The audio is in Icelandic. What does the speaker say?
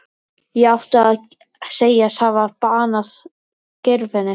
Ég átti að segjast hafa banað Geirfinni.